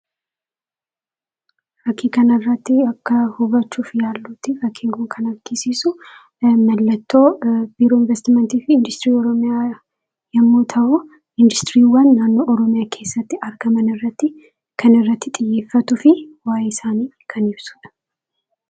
Fakkii kanarraatti akka hubachuuf yaallutti fakkiin kun kan agarsiisu mallattoo biiroo investimentii fi industirii oromiyaa yommuu ta'u, industuriiwwan naannoo oromiyaa keessatti argamanirratti kan xiyyeefatuufi waayee isaanii kan ibsudha.